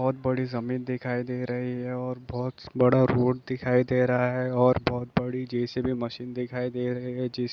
बहुत बड़ी जमीन दिखाई दे रही है और बहुत बड़ा रोड दिखाई दे रहा है और बहुत बड़ी जे-सी-बी मशीन दिखाई दे रही है।